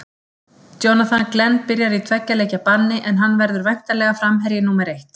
Jonathan Glenn byrjar í tveggja leikja banni en hann verður væntanlega framherji númer eitt.